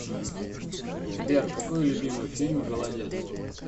сбер какой любимый фильм голодец